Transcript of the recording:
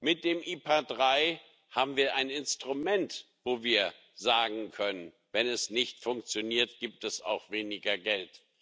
Mit dem IPA III haben wir ein Instrument, wo wir sagen können Wenn es nicht funktioniert, gibt es auch weniger Geld.